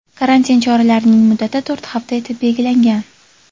Karantin choralarining muddati to‘rt hafta etib belgilangan.